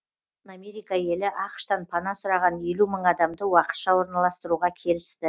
америка елі ақш тан пана сұраған елу мың адамды уақытша орналастыруға келісті